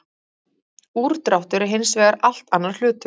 Úrdráttur er hins vegar allt annar hlutur.